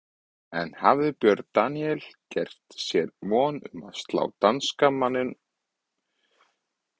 En hafði Björn Daníel gert sér von um að slá danska miðjumanninn út?